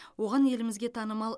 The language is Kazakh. оған елімізге танымал